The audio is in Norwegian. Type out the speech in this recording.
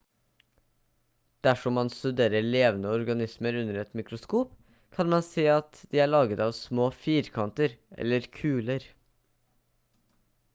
dersom man studerer levende organismer under et mikroskop kan man se at de er laget av små firkanter eller kuler